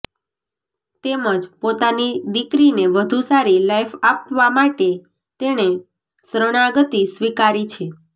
તેમજ પોતાની દીકરીને વધુ સારી લાઈફ આપવા માટે તેણે શરણાગતી સ્વિકારી છે